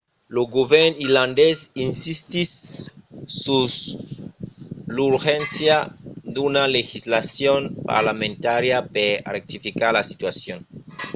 lo govèrn irlandés insistís sus l'urgéncia d'una legislacion parlamentària per rectificar la situacion